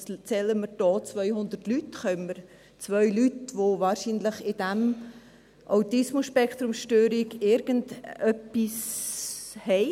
Zählen wir hier 200 Leute, sind es 2 Leute, die wahrscheinlich in dieser ASS irgendetwas haben.